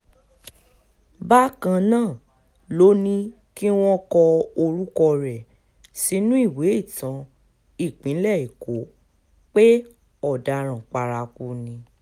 bákan náà ló ní kí wọ́n kọ orúkọ rẹ̀ sínú ìwé ìtàn ìpínlẹ̀ èkó pé ọ̀daràn paraku ni